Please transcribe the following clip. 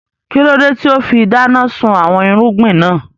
Kílódé tíì ó fi dáná sun àwọn irúgbìn náà